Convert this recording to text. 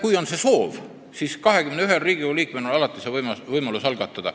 Kui on soovi, siis 21 Riigikogu liikmel on alati võimalus eelnõu algatada.